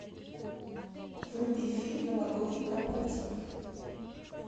вруби фильм новогодний корпоратив